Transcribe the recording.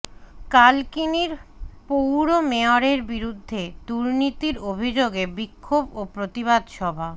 কালকিনির পৌর মেয়রের বিরুদ্ধে দুর্নীতির অভিযোগে বিক্ষোভ ও প্রতিবাদ সভা